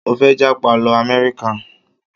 Mo fẹ́ jápa lọ Amẹ́ríkà